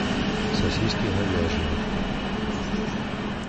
сосиски говяжьи